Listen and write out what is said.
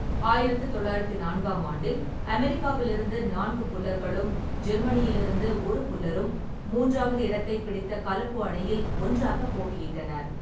ஆயிரத்து தொள்ளாயிரத்து நான்காம் ஆண்டில் அமெரிக்காவில் இருந்து நான்கு புல்லர்களும், ஜெர்மனியிலிருந்து ஒரு புல்லரும் மூன்றாவது இடத்தைப் பிடித்த கலப்பு அணியில் ஒன்றாகப் போட்டியிட்டனர்.